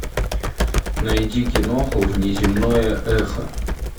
найди киноху внеземное эхо